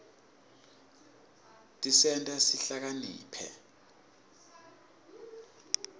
tisenta sihlakanipite